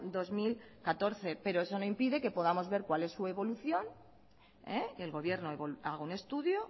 dos mil catorce pero eso no impide que podamos ver cuál es su evolución el gobierno haga un estudio